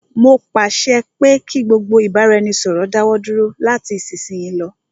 Mó pàṣẹ pé kí gbogbo ìbáraẹnisọ̀rọ̀ dáwọ dúró lati isisiyi lọ.